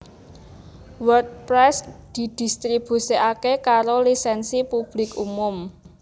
WordPress didistribusikake karo Lisensi Publik Umum